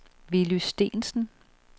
Willy Steensen